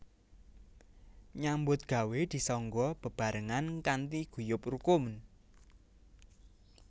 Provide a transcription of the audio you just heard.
Nyambut gawé disangga bebaarengan kanthi guyub rukun